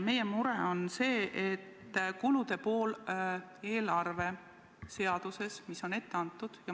Meie mure on kulude pool eelarveseaduses, mis on ette antud.